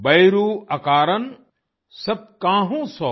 बयरू अकारण सब काहू सों